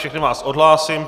Všechny vás odhlásím.